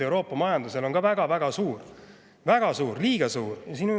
Euroopa majanduse sõltuvus Hiinast on väga-väga suur, liiga suur.